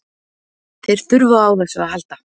Þeir þurfa á þessu að halda.